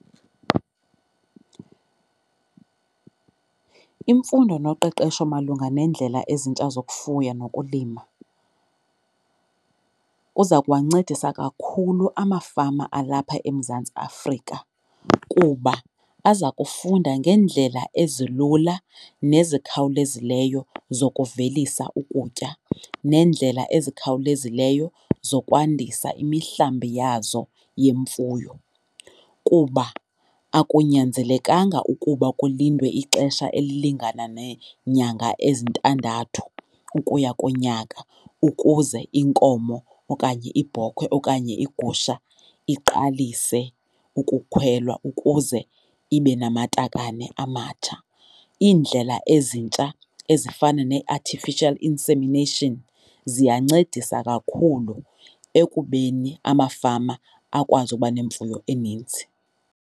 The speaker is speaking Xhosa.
Imfundo noqeqesho malunga neendlela ezintsha zokufuya nokulima kuza kuwancedisa kakhulu amafama alapha eMzantsi Afrika kuba aza kufunda ngeendlela ezilula nezikhawulezileyo zokuvelisa ukutya neendlela ezikhawulezileyo zokwandisa imihlambi yazo yemfuyo. Kuba akunyanzelekanga ukuba kulindwe ixesha elilingana neenyanga ezintandathu ukuya kunyaka ukuze inkomo okanye ibhokhwe okanye igusha iqalise ukukhwelwa ukuze ibe namatakane amatsha. Iindlela ezintsha ezifana nee-artificial insemination ziyancedisa kakhulu ekubeni amafama akwazi uba nemfuyo eninzi.